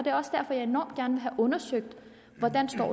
er også derfor jeg enormt gerne vil have undersøgt hvordan